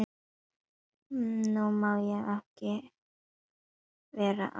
Nú má ég ekki vera að því að bíða lengur.